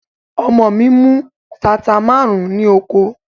Ọmọ mi mú tata márùn-ún ní oko.